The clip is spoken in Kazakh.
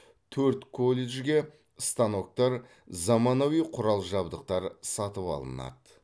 төрт колледжге станоктар заманауи құрал жабдықтар сатып алынады